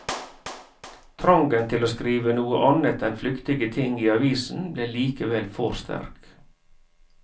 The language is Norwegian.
Trangen til å skrive noe annet enn flyktige ting i avisen ble likevel for sterk.